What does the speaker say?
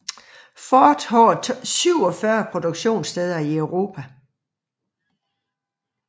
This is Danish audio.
Ford har 47 produktionssteder i Europa